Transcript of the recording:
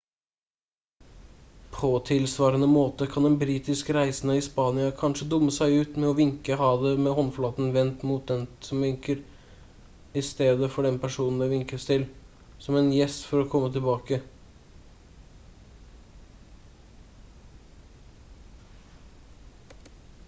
på tilsvarende måte kan en britisk reisende i spania kanskje dumme seg ut med å vinke ha det med håndflaten vendt mot den som vinker i stedet for den personen det vinkets til som en gest for å komme tilbake